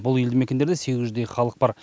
бұл елді мекендерде сегіз жүздей халық бар